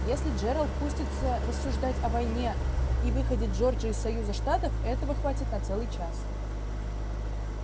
если джералд пустится рассуждать о войне и выходе джорджии из союза штатов этого хватит на целый час